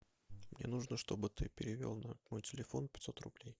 мне нужно чтобы ты перевел на мой телефон пятьсот рублей